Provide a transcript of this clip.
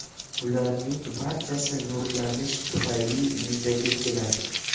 Bularning barchasi nurlanish tufayli yuzaga keladi.